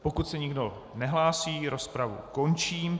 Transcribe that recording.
Pokud se nikdo nehlásí, rozpravu končím.